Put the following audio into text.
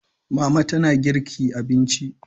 Mama tana girki abinci